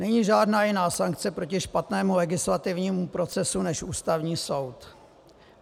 Není žádná jiná sankce proti špatnému legislativnímu procesu než Ústavní soud.